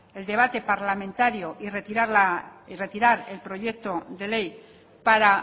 el debate parlamentario y retirar el proyecto de ley para